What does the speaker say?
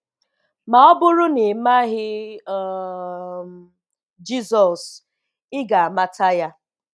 Ma ọ bụrụ na ị maghị um Jizọs, ị ga-amata Ya.